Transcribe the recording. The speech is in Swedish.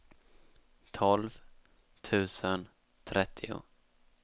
tolv tusen trettio